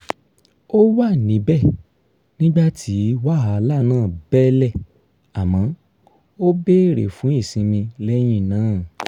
ó wà níbẹ̀ nígbà tí wàhálà náà bẹ́lẹ̀ àmọ́ ó bèrè fún ìsinmi lẹ́yìn náà